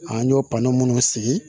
An y'o papiye minnu sigi